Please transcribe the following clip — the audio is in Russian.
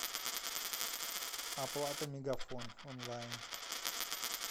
оплата мегафон онлайн